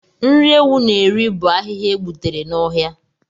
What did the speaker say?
Nri ewu na-eri bụ ahịhịa e gbutere n'ọhịa